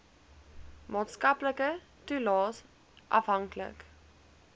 maatskaplike toelaes afhanklik